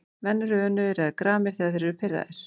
Menn eru önugir eða gramir þegar þeir eru pirraðir.